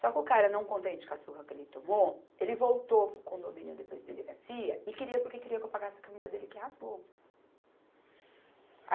Só que o cara não contente com a surra que ele tomou, ele voltou para o condomínio depois da delegacia e queria porque queria que eu pagasse a camisa dele que rasgou.